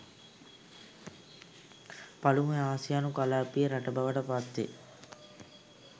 පළමු ආසියානු කලාපීය රට බවට පත්වේ